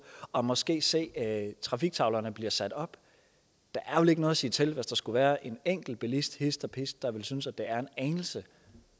og måske se at trafiktavlerne bliver sat op der er vel ikke noget at sige til hvis der skulle være en enkelt bilist hist og pist der synes at det er en anelse